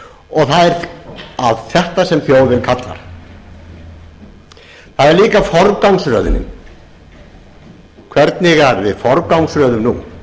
það er á þetta sem þjóðin kallar það er líka forgangsröðunin hvernig við forgangsröðum nú